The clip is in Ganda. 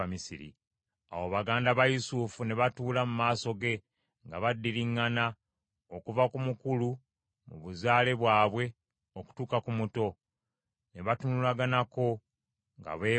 Awo baganda ba Yusufu ne batuula mu maaso ge nga baddiriŋŋana okuva ku mukulu mu buzaale bwabwe okutuuka ku muto; ne batunulaganako nga beewuunya.